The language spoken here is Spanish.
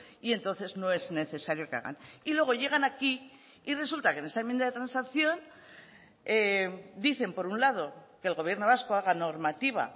y entonces no es necesario que hagan y luego llegan aquí y resulta que en esta enmienda de transacción dicen por un lado que el gobierno vasco haga normativa